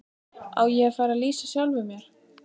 Á ég að fara að lýsa sjálfum mér?